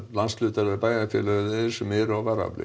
landshlutar eða bæjarfélög eru á varaafli